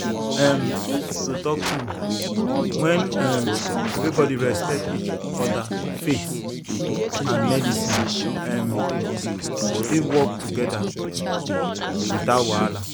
um to talk true when um everybody respect each other faith and medicine um fit work well together without wahala.